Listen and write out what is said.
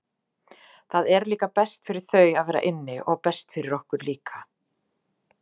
Það er líka best fyrir þau að vera inni og best fyrir okkur líka.